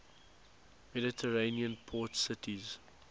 mediterranean port cities